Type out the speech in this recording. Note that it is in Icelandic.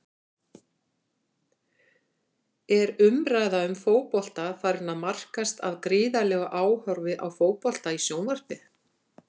Er umræða um fótbolta farin að markast af gríðarlegu áhorfi á fótbolta í sjónvarpi?